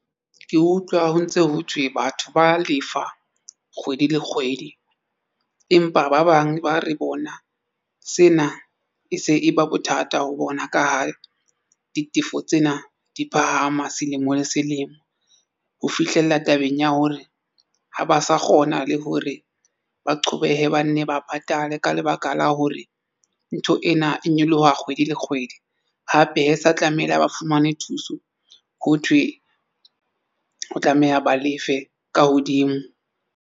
Ke utlwa ho ntse ho thwe batho ba lefa kgwedi le kgwedi empa ba bang ba re bona sena e se e ba bothata ho bona ka ha ditefo tsena di phahama selemo le selemo ho fihlella tabeng ya hore ha ba sa kgona le hore ba qhobeha ba nne ba patale ka lebaka la hore ntho ena e nyoloha kgwedi le kgwedi. Hape hee sa tlamehile a ba fumane thuso ho thwe ho tlameha ba lefe ka hodimo.